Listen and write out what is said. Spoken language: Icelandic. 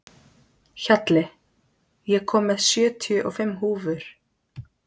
Hjalli, ég kom með sjötíu og fimm húfur!